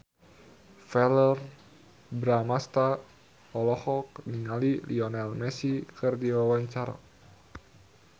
Verrell Bramastra olohok ningali Lionel Messi keur diwawancara